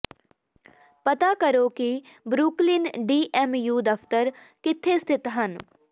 ਪਤਾ ਕਰੋ ਕਿ ਬਰੁਕਲਿਨ ਡੀ ਐਮ ਯੂ ਦਫਤਰ ਕਿੱਥੇ ਸਥਿਤ ਹਨ